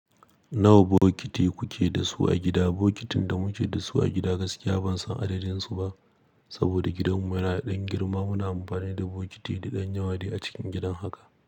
Nawa bokiti kuke da su a gida? Bokitin da muke da su a gida gaskiya ban san adadin su ba saboda gidanmu yana ɗan girma. Muna amfani da bokiti da ɗan yawa dai a cikin gidan haka.